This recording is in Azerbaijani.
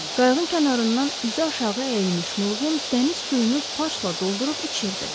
Qayığın kənarından üzü aşağı əyilmiş Mılğon dəniz suyunu parçla doldurub içirdi.